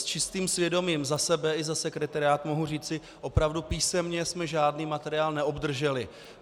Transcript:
S čistým svědomím za sebe i za sekretariát mohu říci, opravdu písemně jsme žádný materiál neobdrželi.